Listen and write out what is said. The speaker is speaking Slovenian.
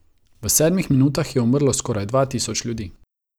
V sedmih minutah je umrlo skoraj dva tisoč ljudi.